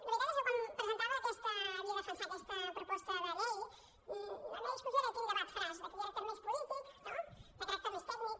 la veritat és que quan havia de defensar aquesta proposta de llei la meva discussió era quin debat faràs de caràcter més polític de caràcter més tècnic